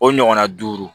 O ɲɔgɔnna duuru